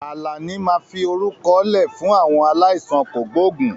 Àlàní máa fi orúkọ lẹ fún àwọn aláìsàn kògbógùn